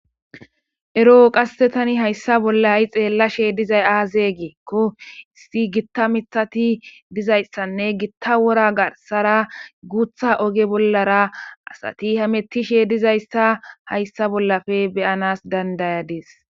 Ero qasse tani hayssa bollayi xeellashe dizay aaze geekko issi gitta mithati dizayssanne gitta wora garsara guutha oge bollara asati hamettishe dizayssa hayssa bollafe beyanas dandayadees